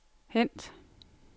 hent